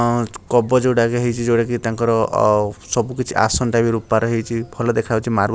ହଁ କବଚ ଗୋଟା ହେଇଚି ଯୋଉଟା କି ତାଙ୍କର ଆଉ ସବୁ କିଛି ଆସନ ଟା ବି ରୂପା ରେ ହେଇଚି ଭଲ ଦେଖାଯାଉଛି ମାର୍ଵ ।